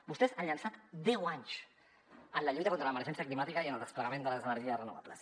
vostès han llençat deu anys en la lluita contra l’emergència climàtica i en el desplegament de les energies renovables